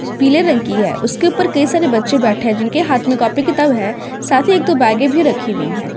पीले रंग की है उसके ऊपर कई सारे बच्चे बैठे हैं जिनके हाथ में कॉपी किताब है साथ ही दो बेगे भी रखी हुई है।